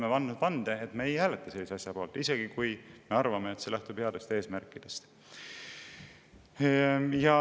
Me oleme andnud vande, me ei hääleta sellise asja poolt, isegi kui me arvame, et see lähtub headest eesmärkidest.